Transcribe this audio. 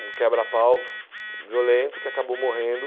Um quebra-pau violento que acabou morrendo.